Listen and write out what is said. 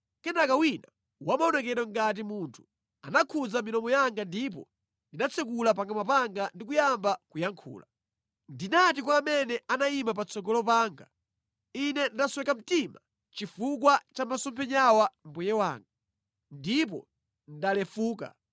Kenaka wina wa maonekedwe ngati munthu anakhudza milomo yanga, ndipo ndinatsekula pakamwa panga ndi kuyamba kuyankhula. Ndinati kwa amene anayima patsogolo panga, “Ine ndasweka mtima chifukwa cha masomphenyawa mbuye wanga, ndipo ndalefuka.